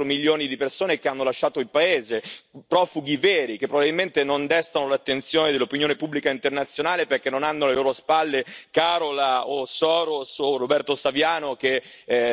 Sei milioni di persone che vivono in condizioni tragiche, più di quattro milioni di persone che hanno lasciato il paese, profughi veri che probabilmente non destano l'attenzione dell'opinione pubblica internazionale perché non hanno alle loro spalle Carola Rackete, George Soros e Roberto Saviano, che